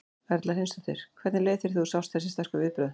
Erla Hlynsdóttir: Hvernig leið þér þegar þú sást þessi sterku viðbrögð?